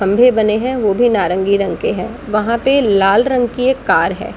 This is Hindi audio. खम्भे बने है वो भी नारंगी रंग के है। वहां पे है लाल रंग की एक कार है।